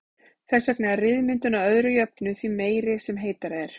Þess vegna er ryðmyndun að öðru jöfnu því meiri sem heitara er.